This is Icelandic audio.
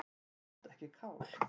Samt ekki kál.